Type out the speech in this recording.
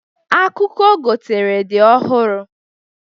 Akụkụ ogotere dị ọhụrụ.